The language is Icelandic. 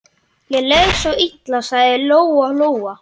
Ég les svo illa, sagði Lóa-Lóa.